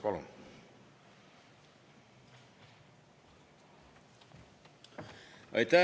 Palun!